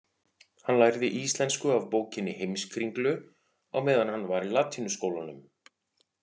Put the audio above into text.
Hann lærði íslensku af bókinni Heimskringlu á meðan hann var í latínuskólanum.